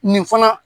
Nin fana